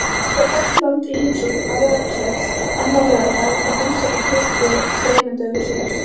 Ísland fær Lettland í heimsókn á Laugardalsvöll annan laugardag og heimsækir Tyrki þremur dögum síðar.